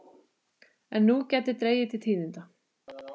En nú gæti dregið til tíðinda.